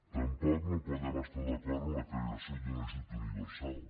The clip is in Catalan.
tampoc no podem estar d’acord amb la creació d’un ajut universal